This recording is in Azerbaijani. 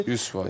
100%.